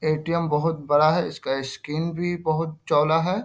ATM. बहुत बड़ा है इसका स्‍क्रीन भी बहुत चौला है।